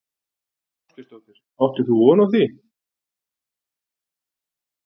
Þóra Kristín Ásgeirsdóttir: Áttir þú von á því?